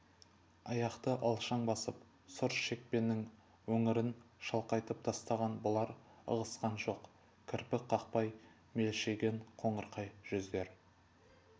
аяқты алшаң басып сұр шекпеннің өңірін шалқайтып тастаған бұлар ығысқан жоқ кірпік қақпай мелшиген қоңырқай жүздер